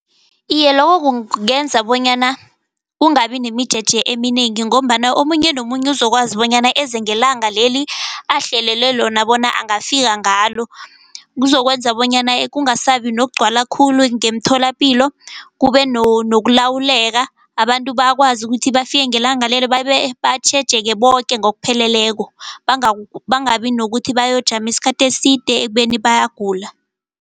Iye, lokho kungenza bonyana kungabi nemijeje eminengi ngombana omunye nomunye uzokwazi bonyana eze ngelanga leli ahlelelwe lona bona angafika ngalo. Kuzokwenza bonyana kungasaba nokugcwala khulu ngemtholapilo kube nokulawuleka. Abantu bakwazi ukuthi bafike ngelanga lelo babe batjhejeke boke ngokupheleleko bangabi nokuthi bayokujama isikhathi eside ekubeni bayagula.